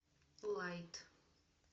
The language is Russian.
лайт